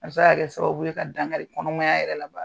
A bɛ se ka kɛ sababu ye ka dankari kɔnɔmaya yɛrɛ la